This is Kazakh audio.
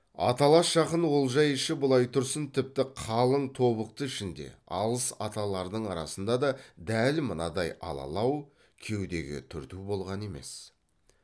аталас жақын олжай іші былай тұрсын тіпті қалың тобықты ішінде алыс аталардың арасында да дәл мынадай алалау кеудеге түрту болған емес